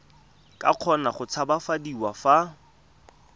ka kgona go tshabafadiwa fa